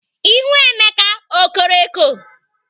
Ihu Emeka o koro eko?